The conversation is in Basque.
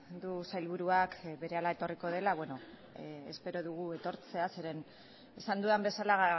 du sailburuak berehala etorriko dela espero dugu etortzea zeren esan dudan bezala